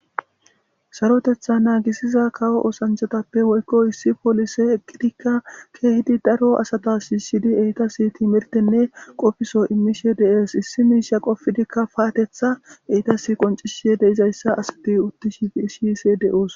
Sarotheththa naagissiza kawo oosanchchathape woykko issi polisee eqqidikka keehidi daro asatha shiishshidi eethassi thiimirththenne qofisho immishe de7ees; issi miishsha immidikka paatheththaa eethassi qonccisse de7izayssa be7ishee de7oos.